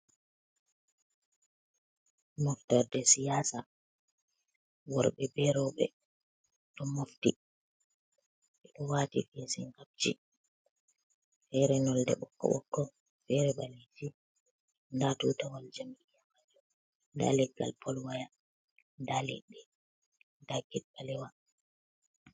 Mofter de siyasa, worɓe be roɓe, ɗo mofti ɓe ɗo wati fisinkabji fere nolde ɓokko ɓokko, fere ɓalejum, nda tutawol jam Iya majom, nda legal polwaya, nda leɗɗe, nda gid ɓalewa.